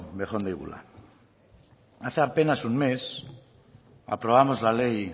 bejon deigula hace apenas un mes aprobábamos la ley